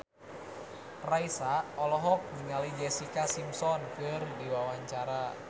Raisa olohok ningali Jessica Simpson keur diwawancara